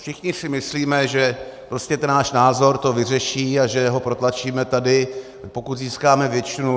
Všichni si myslíme, že prostě ten náš názor to vyřeší a že ho protlačíme tady, pokud získáme většinu.